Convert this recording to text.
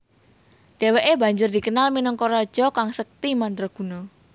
Dheweke banjur dikenal minangka raja kang sekti mandraguna